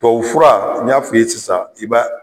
Tubabufura n y'a f'i ye sisan i b'a